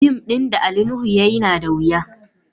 Fim din Ali Nuhu ya yi nada wuya.